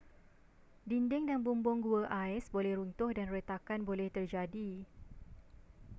dinding dan bumbung gua ais boleh runtuh dan retakan boleh terjadi